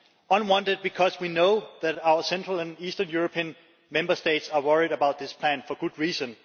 unwanted because we know that our central and eastern European Member States are worried about this plan for good reason